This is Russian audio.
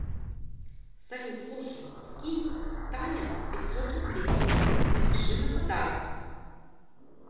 салют слушай скинь таня пятьсот рублей напиши на подарок